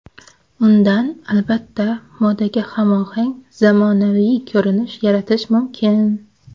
Undan, albatta, modaga hamohang, zamonaviy ko‘rinish yaratish mumkin.